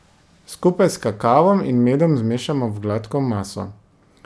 Skupaj s kakavom in medom zmešamo v gladko maso.